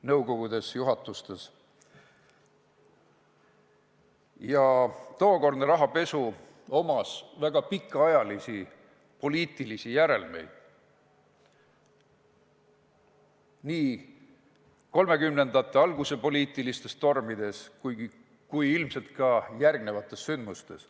Tookordsel rahapesul oli väga pikaajalisi poliitilisi järelmeid nii 1930-ndate alguse poliitilistes tormides kui ilmselt ka järgnenud sündmustes.